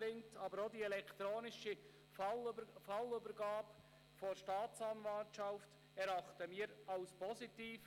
Wir erachten auch die elektronische Fallübergabe der Staatsanwaltschaft als positiv.